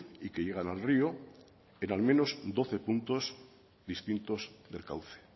y que llegan al río en al menos doce puntos distintos del cauce